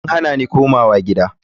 An hana ni komawa gida.